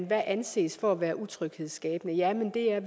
hvad anses for at være utryghedsskabende jamen det er